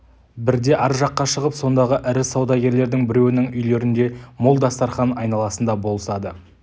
бірде ар жаққа шығып сондағы ірі саудагерлердің біреуінің үйлерінде мол дастарқан айналасында болысады